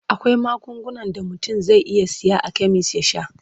Akwai magungunan da mutum zai iya saya a kemis ya sha.